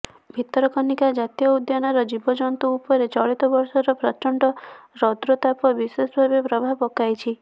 ଭିତରକନିକା ଜାତୀୟ ଉଦ୍ୟାନର ଜୀବଜନ୍ତୁ ଉପରେ ଚଳିତବର୍ଷର ପ୍ରଚଣ୍ଡ ରୌଦ୍ରତାପ ବିଶେଷ ଭାବେ ପ୍ରଭାବ ପକାଇଛି